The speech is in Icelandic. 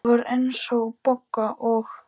Það var eins og Bogga og